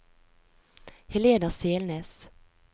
Helena Selnes